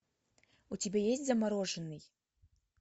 у тебя есть замороженный